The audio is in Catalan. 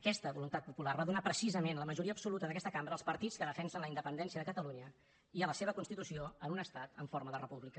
aquesta voluntat popular va donar precisament la majoria absoluta d’aquesta cambra als partits que defensen la independència de catalunya i a la seva constitució en un estat en forma de república